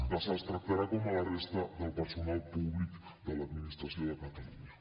que se’ls tractarà com a la resta del personal públic de l’administració de catalunya